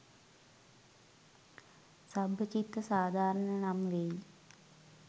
සබ්බචිත්ත සාධාරණ නම් වෙයි.